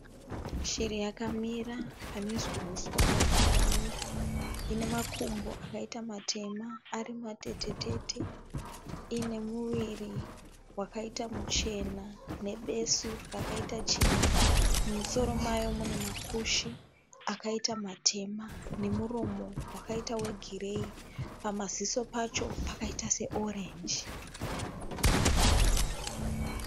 Shiri yakamira pane huswa hwakawanda. Ine makumbo akaita matema ari matete tete. Iine muviri wakaita muchena nebesu rakaita chena. Mumusoro mayo mune makushe akaita matema nemuromo wakaita wegireyi. Pamaziso pacho pakaita seorenji.